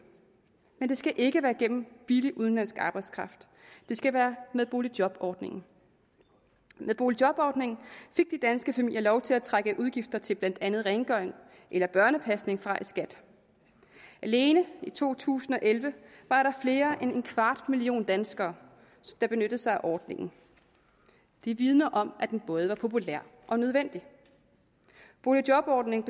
men det skal ikke være gennem billig udenlandsk arbejdskraft det skal være med boligjobordningen med boligjobordningen fik de danske familier lov til at trække udgifter til blandt andet rengøring eller børnepasning fra i skat alene i to tusind og elleve var der mere end en kvart million danskere der benyttede sig af ordningen det vidner om at den både var populær og nødvendig boligjobordningen